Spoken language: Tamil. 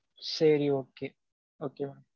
சரி okay. Okay mam